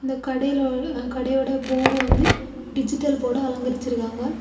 அந்தக் கடையில ஒரு கடையோட போர்டை வந்து டிஜிட்டல் போர்டு அலங்கரிச்சிருக்காங்க.